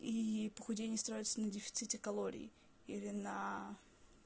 и похудение строится на дефиците калорий или на